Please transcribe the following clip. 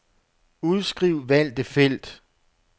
Udskriv valgte felt.